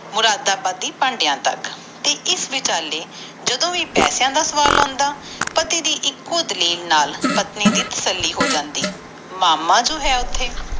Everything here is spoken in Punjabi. ਮੁਰਾਦ ਬੜੀ ਭੰਡਿਆ ਤਕ ਤੇ ਇਸ ਵਿਚਾਲੇ ਜਦੋ ਵੀ ਪਾਸਿਆਂ ਦਾ ਸਵਾਲ ਆਂਦਾ ਇਕੋ ਦਲੀਲ ਨਾਲ ਪਤਨੀ ਦੇ ਤੱਸਲੀ ਹੋ ਜਾਂਦੇ ਮਾਮਾ ਜੋ ਹੈ ਓਥੇ